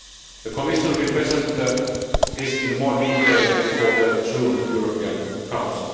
The Commission will present this in more detail before the June European Council.